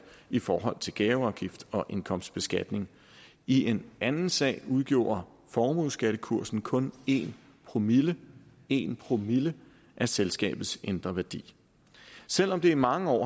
i forhold til gaveafgift og indkomstbeskatning i en anden sag udgjorde formueskattekursen kun en promille en promille af selskabets indre værdi selv om det i mange år